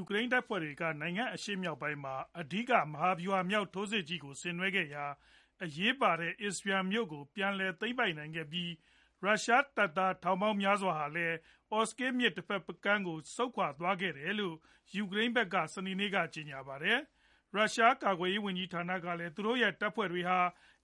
ူကရိန်းတပ်ဖွဲ့တွေက နိုင်ငံအရှေ့မြောက်ပိုင်းမှာ အဓိက မဟာဗျူဟာမြောက် ထိုးစစ်ကြီးကို ဆင်နွှဲခဲ့ရာ အရေးပါတဲ့ Izyum မြို့ကို ပြန်လည် သိမ်းပိုက်နိုင်ခဲ့ပြီး ရုရှားတပ်သား ထောင်ပေါင်းများစွာဟာလည်း Oskil မြစ်တဖက်ကမ်းကို ဆုတ်ခွာသွားကြတယ်လို့ ယူကရိန်းဖက်က စနေနေ့က ကြေညာပါတယ်။ ရုရှားကာကွယ်ရေးဝန်ကြီးဌာနကလည်း သူတို့တပ်ဖွဲ့တွေဟာ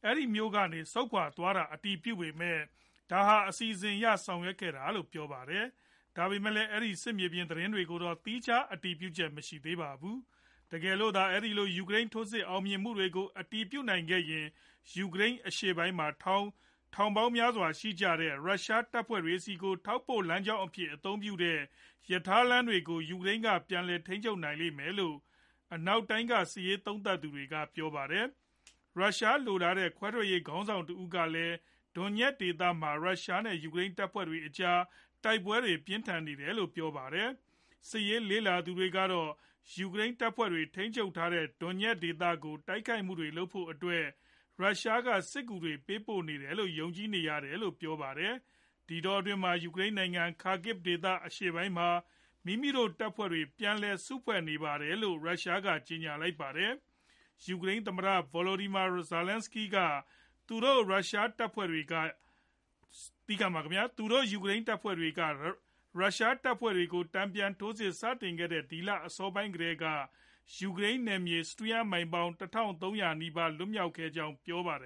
အဲဒီ မြို့ကနေ ဆုတ်ခွာသွားတာ အတည်ပြုပေမယ့် ဒါဟာ အစီအစဉ်အရ ဆောင်ရွက်ခဲ့တာလို့ ပြောပါတယ်။ ဒါပေမယ့်လည်း အဲဒီ စစ်မြေပြင်သတင်းတွေကိုတော့ သီးခြား အတည်ပြုချက် မရှိသေးပါဘူး။ တကယ်လို့သာ အဲဒီလို ယူကရိန်း ထိုးစစ်အောင်မြင်မှုတွေကို အတည်ပြုနိုင်ခဲ့ရင် ယူကရိန်း အရှေ့ပိုင်းက ထောင်ပေါင်းများစွာရှိကြတဲ့ ရုရှားတပ်ဖွဲ့တွေဆီကို ထောက်ပို့လမ်းကြောင်းအဖြစ် အသုံးပြုတဲ့ ရထားလမ်းတွေကို ယူကရိန်းက ပြန်လည် ထိန်းချုပ်နိုင်လိမ့်မယ်လို့ အနောက်တိုင်းက စစ်ရေး သုံးသပ်သူတွေက ပြောပါတယ်။ ရုရှားလိုလားတဲ့ ခွဲထွက်ရေးခေါင်းဆောင်တဦးကလည်း Donetsk ဒေသမှာ ရုရှား နဲ့ ယူကရိန်းတပ်ဖွဲ့တွေ အကြား တိုက်ပွဲတွေ ပြင်းထန်နေတယ်လို့ ပြောပါတယ်။ စစ်ရေး လေ့လာသူတွေကတော့ ယူကရိန်းတပ်ဖွဲ့တွေ ထိန်းချုပ်ထားတဲ့ Donetsk ဒေသကို တိုက်ခိုက်မှုတွေလုပ်ဖို့အတွက် ရုရှားက စစ်ကူတွေ ပေးပို့နေတယ်လို့ ယုံကြည်နေရတယ်လို့ ပြောပါတယ်။ ဒီတောအတွင်းမှာ ယူကရိန်းနိုင်ငံ Kharkiv ဒေသ အရှေ့ပိုင်းမှာ မိမိတို့ တပ်ဖွဲ့တွေ ပြန်လည် စု့ဖွဲ့နေတယ်လို့ ရုရှားက ကြေညာလိုက်ပါတယ်။ ယူကရိန်း သမ္မတ Volodymyr Zelenskyy ကတော့ သူတို့ ယူကရိန်းတပ်ဖွဲ့တွေက ရုရှားတပ်ဖွဲ့တွေကို တန်ပြန်ထိုးစစ် စတင်ခဲ့တဲ့ ဒီလအစောပိုင်းကတည်းက စပြီး ယူကရိန်းနယ်မြေ စတုရန်းမိုင်ပေါင်း ၁ ထောင် ၃ ရာနီးပါး လွတ်မြောက်ခဲ့ကြောင်း ပြောပါတယ်